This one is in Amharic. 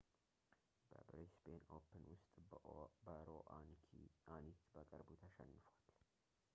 በብሪስቤን ኦፕን ውስጥ በሮአኒክ በቅርቡ ተሽንፏል